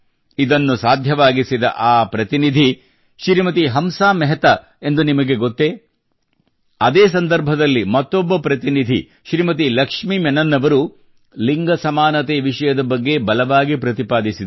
ಇದು ಸಾಧ್ಯವಾಗಿಸಿದ ಆ ಪ್ರತಿನಿಧಿ ಶ್ರೀಮತಿ ಹಂಸಾಮೆಹತಾ ಎಂದು ನಿಮಗೆ ಗೊತ್ತೇ ಅದೇ ಸಂದರ್ಭದಲ್ಲಿ ಮತ್ತೊಬ್ಬ ಪ್ರತಿನಿಧಿ ಶ್ರೀಮತಿ ಲಕ್ಷ್ಮಿ ಮೆನನ್ ಅವರು ಲಿಂಗ ಸಮಾನತೆ ವಿಷಯದ ಬಗ್ಗೆ ಬಲವಾಗಿ ಪ್ರತಿಪಾದಿಸಿದರು